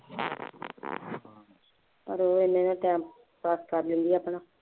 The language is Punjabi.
ਪਰ ਉਹ ਹੈ ਅੇਨੇ ਦਾ time pass ਕਰ ਲੈਂਦੀ ਹੈ ਆਪਣਾ